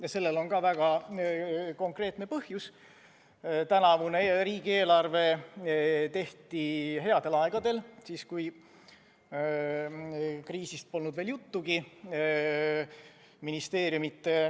Ja sellel on ka väga konkreetne põhjus: tänavune riigieelarve tehti headel aegadel – siis, kui kriisist polnud veel juttugi.